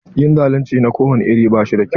Yin zalunci na kowani iri babu kyau.